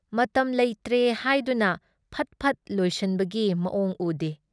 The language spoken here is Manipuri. ꯃꯇꯝ ꯂꯩꯇ꯭ꯔꯦ ꯍꯥꯏꯗꯨꯅ ꯐꯠꯐꯠ ꯂꯣꯏꯁꯟꯕꯒꯤ ꯃꯋꯣꯡ ꯎꯗꯦ꯫